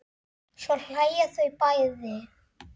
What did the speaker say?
Svo hlæja þau bæði.